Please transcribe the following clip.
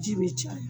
Ji bɛ caya